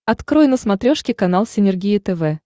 открой на смотрешке канал синергия тв